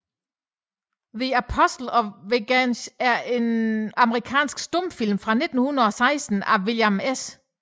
The Apostle of Vengeance er en amerikansk stumfilm fra 1916 af William S